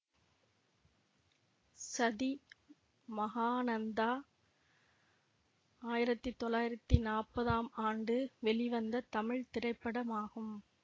சதி மகானந்தா ஆயிரத்தி தொள்ளாயிரத்தி நாப்பதாம் ஆண்டு வெளிவந்த தமிழ் திரைப்படமாகும்